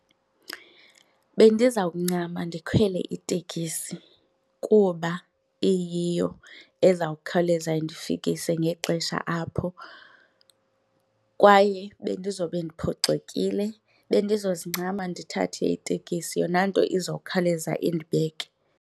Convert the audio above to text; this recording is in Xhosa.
Bendizawuncama ndikhwele itekisi kuba iyiyo ezawukhawuleza indifikise ngexesha apho kwaye bendizobe ndiphoxekile. Bendizozincama ndithathe itekisi yona nto izokhawuleze indibeke.